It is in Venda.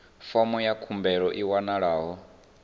fomo ya khumbelo i wanalaho